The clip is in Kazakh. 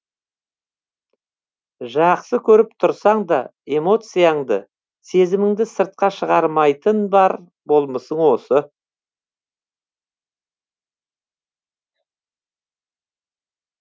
жақсы көріп тұрсаң да эмоцияңды сезіміңді сыртқа шығармайтын бар болмысың осы